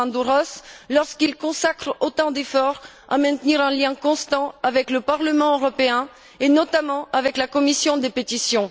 Diamandouros lorsqu'il consacre autant d'efforts à maintenir un lien constant avec le Parlement européen et, notamment, avec la commission des pétitions.